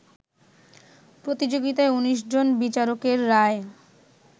প্রতিযোগিতায় ১৯ জন বিচারকের রায়ে